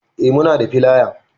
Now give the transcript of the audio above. Eh muna da filaya